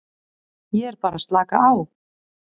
Ég er bara að slaka á.